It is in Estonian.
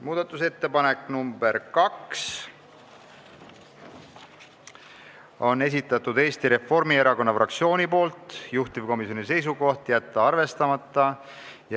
Muudatusettepanek nr 2 on Eesti Reformierakonna fraktsiooni esitatud, juhtivkomisjoni seisukoht: jätta arvestamata.